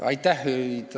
Aitäh!